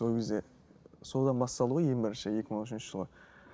ол кезде содан басталды ғой ең бірінші екі мың он үшінші жылы